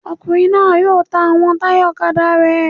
Ọkùnrin náà yóò ta àwọn táyà ọ̀kadà rẹ̀